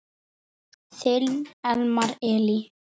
Þinn Elmar Elí.